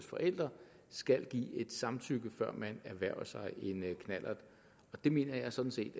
forældre skal give et samtykke før man erhverver sig en knallert det mener jeg sådan set